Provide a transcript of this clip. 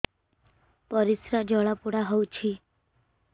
ପରିସ୍ରା ଜଳାପୋଡା ହଉଛି